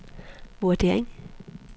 vurdering